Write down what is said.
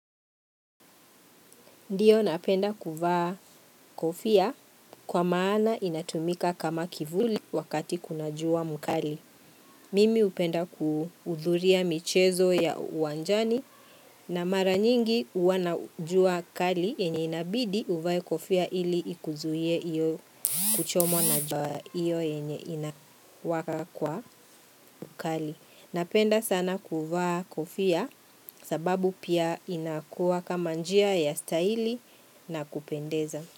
Ndiyo napenda kuvaa kofia kwa maana inatumika kama kivuli wakati kuna juwa mukali. Mimi upenda kuudhuria michezo ya uwanjani na mara nyingi uwanajua kali enye inabidi uvae kofia ili ikuzuhie iyo kuchomwa na juwa iyo yenye inawaka kwa mukali. Napenda sana kuvaa kofia sababu pia inakuwa kama njia ya staili na kupendeza.